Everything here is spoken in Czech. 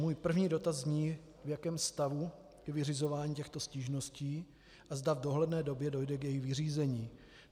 Můj první dotaz zní, v jakém stavu je vyřizování těchto stížností a zda v dohledné době dojde k jejich vyřízení.